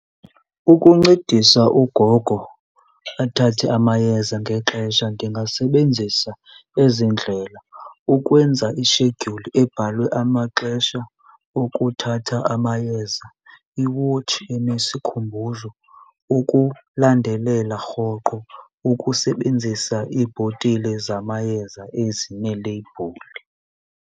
Ukuncedisa ugogo athathe amayeza ngexesha ndingasebenzisa ezi ndlela, ukwenza ishedyuli ebhalwe amaxesha okuthatha amayeza, iwotshi enesikhumbuzo ukulandelela rhoqo, ukusebenzisa iibhotile zamayeza ezineleyibhuli.